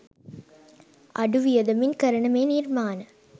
අඩු වියදමින් කරන මේ නිර්මාණ